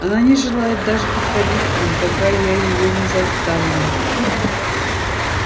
она не желает даже подходить к ним пока я её не заставлю